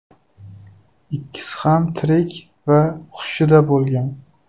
Ikkisi ham tirik va hushida bo‘lgan.